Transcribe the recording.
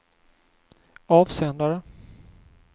avsändare